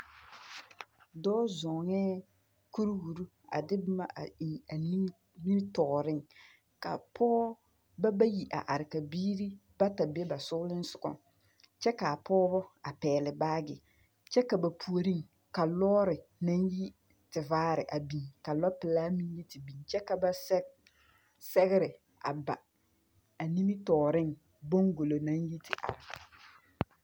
Dɔɔ zɔŋɛɛ kuriwiri a de boma a eŋ a nimmitɔɔreŋ, ka pɔgebɔ bayi a are ka biiri bata be ba soglensogɔŋ, kyɛ ka a pɔgebɔ a pɛgele baagere, kyɛ ka ba puoriŋ ka lɔɔre naŋ yi tevaare a biŋ, ka lɔɔpelaa meŋ te biŋ, kyɛ ka ba sɛge sɛgere a ba a nimmitɔɔreŋ boŋgbulo 90.